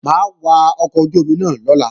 Mà á wa ọkọ̀ ojú-omi náà lọ́la